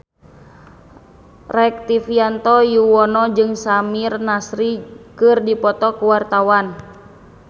Rektivianto Yoewono jeung Samir Nasri keur dipoto ku wartawan